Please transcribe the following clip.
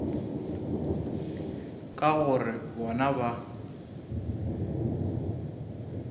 ka gore bona ga ba